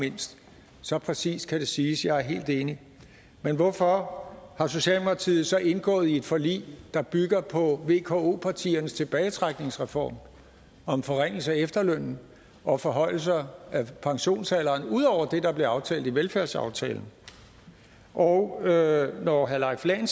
mindst så præcist kan det siges jeg er helt enig men hvorfor har socialdemokratiet så indgået et forlig der bygger på vko partiernes tilbagetrækningsreform om forringelse af efterlønnen og forhøjelser af pensionsalderen ud over det der blev aftalt i velfærdsaftalen og når herre leif lahn